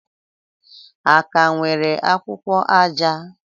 A ka nwere akwụkwọ aja?